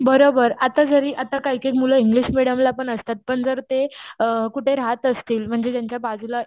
बरोबर आता जरी आता काही काही मूळ इंग्लिश मिडीयम ला पण असतात पण जर ते अअ कुठे राहत असतील म्हणजे त्यांच्या बाजूला